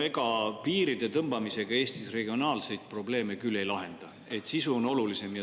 No ega piiride tõmbamisega Eestis regionaalseid probleeme küll ei lahenda, sisu on olulisem.